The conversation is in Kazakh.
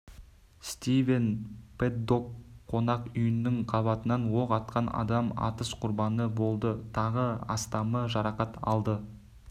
стивен пэддок қонақ үйініің қабатынан оқ атқан адам атыс құрбаны болды тағы астамы жарақат алды